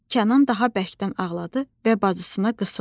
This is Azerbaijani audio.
Kənan daha bərkdən ağladı və bacısına qısıldı.